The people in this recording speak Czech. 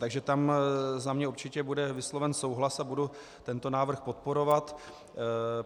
Takže tam za mě určitě bude vysloven souhlas a budu tento návrh podporovat.